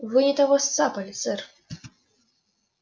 вы не того сцапали сэр